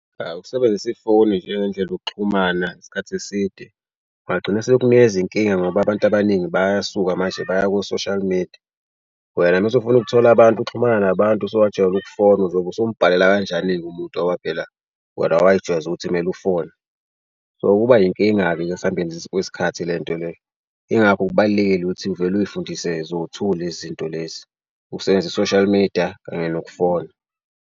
Awu ukusebenzisa ifoni njengendlela yokuxhumana isikhathi eside kungagcina sekunikeza inkinga ngoba abantu abaningi bayasuka manje baya ko-social media. Wena mase ufuna ukuthola abantu ukuxhumana nabantu usuwajwayela ukufona uzobe usumbhalela kanjani-ke umuntu ngoba phela wena way'jwayeza ukuthi kumele ufone? So kuba inkinga-ke esambeni kwesikhathi le nto le. Yingakho kubalulekile ukuthi uvele uy'fundise zowu-two lezi zinto lezi, usenze u-social media kanye nokufona.